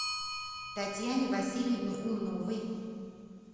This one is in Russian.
татьяне васильевне умновой